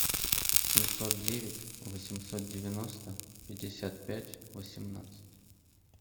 семьсот девять восемьсот девяносто пятьдесят пять восемнадцать